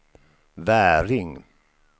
Väring